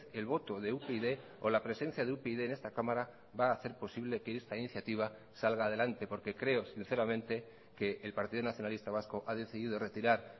el voto de upyd o la presencia de upyd en esta cámara va a hacer posible que esta iniciativa salga adelante porque creo sinceramente que el partido nacionalista vasco ha decidido retirar